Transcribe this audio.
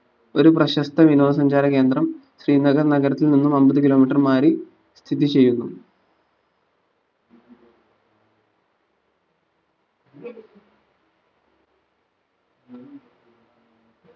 ഒരു പ്രശസ്ത വിനോദ സഞ്ചാര കേന്ദ്രം ശ്രീനഗർ നഗരത്തിൽ നിന്ന് അമ്പത് kilometre മാറി സ്ഥിതി ചെയ്യുന്നു